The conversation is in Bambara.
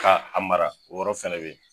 Ka a mara o yɔrɔ fɛnɛ be yen